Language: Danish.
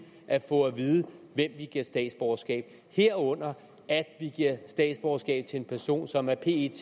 at få at vide hvem vi giver statsborgerskab herunder at vi giver statsborgerskab til en person som af pet